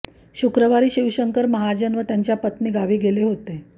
शुक्रवारी शिवशंकर महाजन व त्यांच्या पत्नी गावी गेले होते